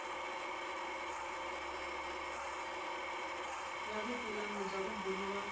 ya vupulani bya vumbano wa